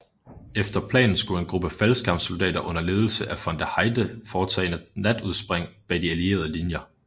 Efter planen skulle en gruppe faldskærmssoldater under ledelse af von der Heydte foretage natudspring bag de allierede linjer